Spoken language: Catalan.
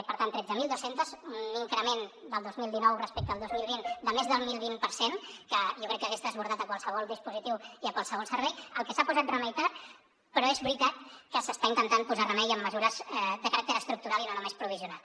per tant tretze mil dos cents un increment el dos mil dinou respecte al dos mil vint de més del deu vint per cent que jo crec que hagués desbordat qualsevol dispositiu i qualsevol servei cosa a la qual s’ha posat remei tard però és veritat que s’hi està intentant posar remei amb mesures de caràcter estructural i no només provisional